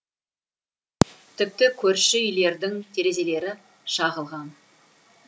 тіпті көрші үйлердің терезелері шағылған